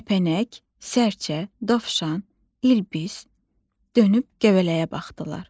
Kəpənək, sərçə, dovşan, İlbis dönüb göbələyə baxdılar.